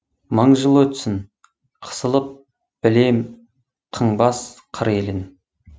мың жыл өтсін қысылып білем қыңбас қыр елін